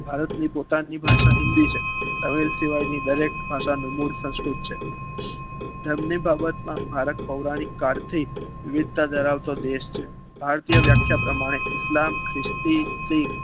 ભારતની પોતાની ભાષા હિન્દી છે અવેર સેવાની દરેક ભાષાનું મૂળ સંસ્કૃત છે એમની બાબત માં ભારત પોરાણિક કાળથી વિવિધતા ધરાવતો દેશ છે ભારતીય વ્યખ્યા પ્રમાણે ઇસ્લામ ખ્રિસ્તી સાઈ